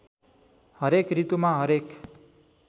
हरेक ॠतुमा हरेक